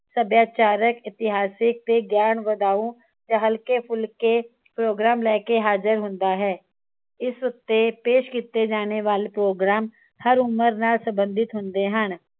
ਸੱਭਿਆਚਾਰਕ ਇਤਿਹਾਸਿਕ ਤੇ ਗਿਆਨ ਵਧਾਉ ਤੇ ਹਲਕੇ ਫੁਲਕੇ ਪ੍ਰੋਗਰਾਮ ਲੈਕੇ ਹਾਜ਼ਿਰ ਹੁੰਦਾ ਹੈ। ਇਸ ਉਤੇ ਪੇਸ਼ ਕੀਤੇ ਜਾਣੇ ਵਾਲੇ ਪ੍ਰੋਗਰਾਮ ਹਰ ਉਮਰ ਨਾਲ ਸੰਬੰਧਿਤ ਹੁੰਦੇ ਹਨ।